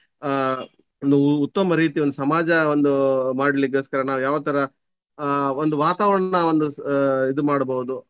ಆಹ್ ಒಂದು ಉತ್ತಮ ರೀತಿ ಒಂದು ಸಮಾಜ ಒಂದು ಮಾಡ್ಲಿಕ್ಕೊಸ್ಕರ ನಾವು ಯಾವತರ ಆಹ್ ಒಂದು ವಾತಾವರಣ ಒಂದು ಆಹ್ ಇದು ಮಾಡಬಹುದು.